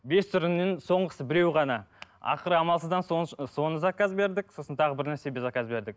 бес түрінен соңғысы біреу ғана ақыры амалсыздан соны заказ бердік сосын тағы бірнәрсе заказ бердік